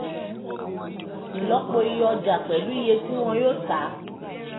ìlọ́po iye ọjà pẹ̀lú iye tí wọn yóò ta